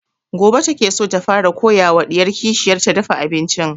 Gobe ta ke so ta fara koya wa ɗiyar kishiyar ta dafa abincin